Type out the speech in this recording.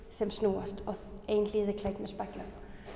sem snúast og ein hlið er klædd með speglum